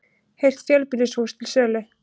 Heilt fjölbýlishús til sölu